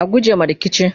a guje ma rikici!